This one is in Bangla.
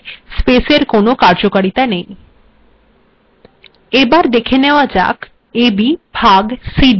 সতুরাং এক্েখত্ের a এবং b এর মধ্েযর স্েপস্এর কোনো কার্যকারীতা েনই